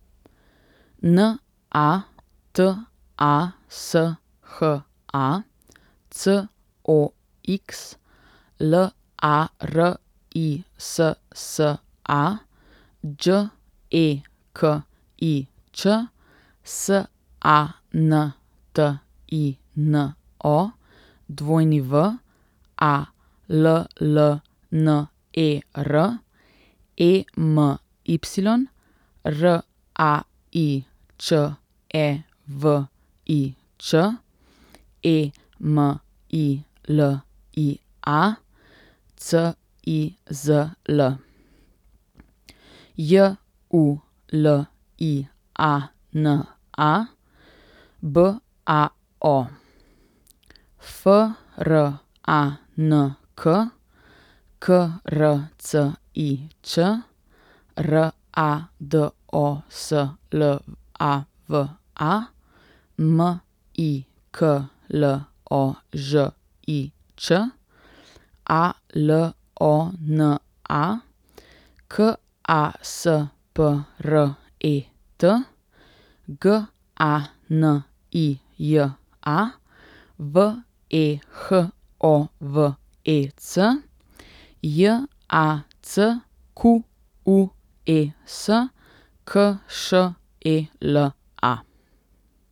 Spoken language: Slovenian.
N A T A S H A, C O X; L A R I S S A, Đ E K I Ć; S A N T I N O, W A L L N E R; E M Y, R A I Č E V I Č; E M I L I A, C I Z L; J U L I A N A, B A O; F R A N K, K R C I Ć; R A D O S L A V A, M I K L O Ž I Č; A L O N A, K A S P R E T; G A N I J A, V E H O V E C; J A C Q U E S, K Š E L A.